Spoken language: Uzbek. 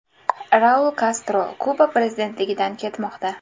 Raul Kastro Kuba prezidentligidan ketmoqda.